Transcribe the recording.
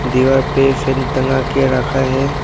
दीवार पे फैन टंगा के रखा है।